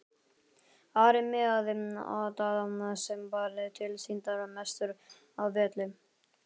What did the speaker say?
Ari miðaði á Daða sem var tilsýndar mestur á velli.